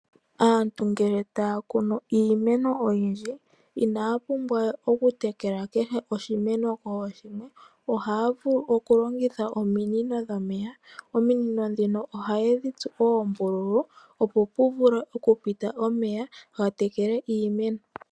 Aantu ngele ta ya kunu iimeno oyindji, inaya pumbwa okutekela kehe oshimeno koshimwe ndele ohaya vulu okulongitha longitha ominino dhomeya dha tsuwa oombululu, opo pu vule okupitila omeya ga tekele iimeno.